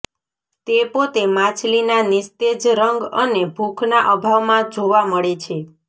તે પોતે માછલીના નિસ્તેજ રંગ અને ભૂખના અભાવમાં જોવા મળે છે